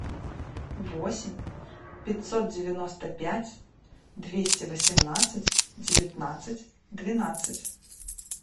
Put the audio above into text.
восемь пятьсот девяносто пять двести восемнадцать девятнадцать двенадцать